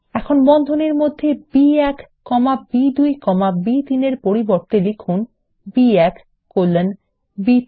এখন বন্ধনীর মধ্যে বি1 কমা বি2 কমা বি3 এর পরিবর্তে লিখুন B1 কোলন বি3